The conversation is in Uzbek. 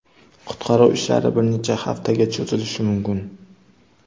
Qutqaruv ishlari bir necha haftaga cho‘zilishi mumkin.